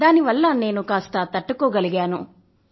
దాని వల్ల నేను కాస్త తట్టుకోగలిగాను